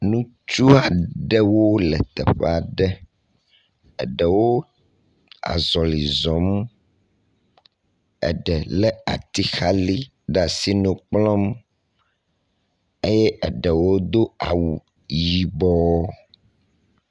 Ŋutsu aɖewo le teƒea ɖe. Aɖewo azɔli zɔm. Aɖe lé atixali ɖe asi nu kplɔm eye aɖewo do awu yibɔɔ.